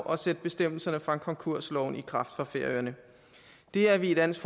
og sætte bestemmelserne fra konkursloven i kraft for færøerne det er vi i dansk